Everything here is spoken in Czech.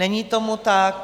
Není tomu tak.